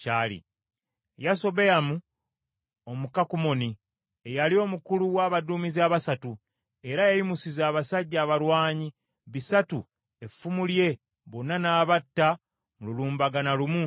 Bano be basajja ba Dawudi abalwanyi ab’amaanyi be yalina: Yasobeyamu Omukakumoni, eyali omukulu w’abaduumizi abasatu; era yayimusiza abasajja abalwanyi bisatu effumu lye bonna n’abatta mu lulumbagana lumu.